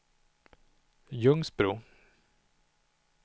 Ljungsbro